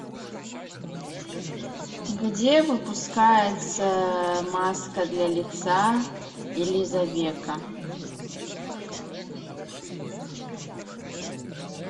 где выпускается маска для лица элизавекка